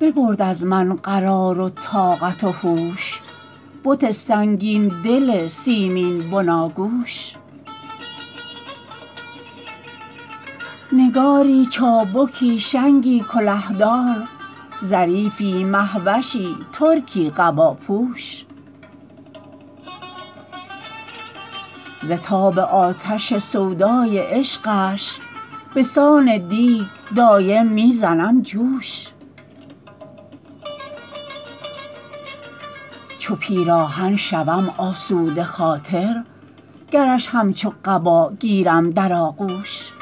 ببرد از من قرار و طاقت و هوش بت سنگین دل سیمین بناگوش نگاری چابکی شنگی کله دار ظریفی مه وشی ترکی قباپوش ز تاب آتش سودای عشقش به سان دیگ دایم می زنم جوش چو پیراهن شوم آسوده خاطر گرش همچون قبا گیرم در آغوش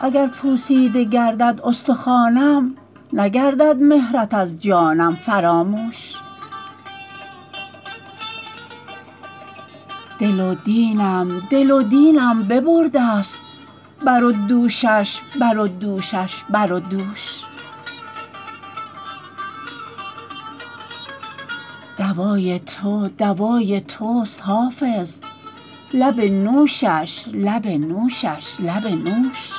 اگر پوسیده گردد استخوانم نگردد مهرت از جانم فراموش دل و دینم دل و دینم ببرده ست بر و دوشش بر و دوشش بر و دوش دوای تو دوای توست حافظ لب نوشش لب نوشش لب نوش